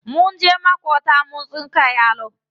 Mun je maƙwabta mun tsinka yalo.